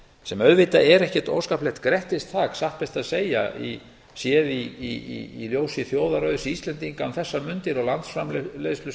sem auðvitað er ekkert óskaplegt grettistak satt best að segja séð í ljósi þjóðarauðs íslendinga um þessar mundir og landsframleiðslu sem er